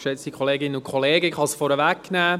Ich kann es vorwegnehmen: